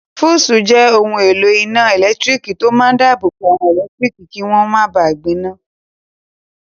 Fúùsì jẹ́ ohun èlò iná ẹ̀lẹ́tírík tó máa n dáàbò bo àwọn ẹlẹtíríkì kí wọ́n máa ba gbiná